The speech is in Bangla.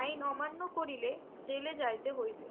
আইন অমান্য করিলে জেলে যাইতে হইবে